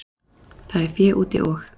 Það er fé úti og.